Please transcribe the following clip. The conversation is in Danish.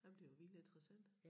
Ej men det jo virkelig interessant